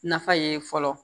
Nafa ye fɔlɔ